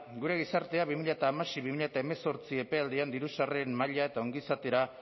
gure gizartea bi mila hamasei bi mila hemezortzi epealdian diru sarreren maila eta ongizatera